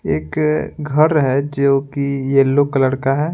एक घर है जो कि येलो कलर का है।